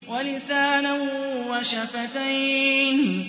وَلِسَانًا وَشَفَتَيْنِ